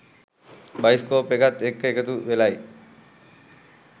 Bioscope එකත් එක්ක එකතු වෙලයි.